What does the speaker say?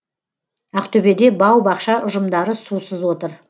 ақтөбеде бау бақша ұжымдары сусыз отыр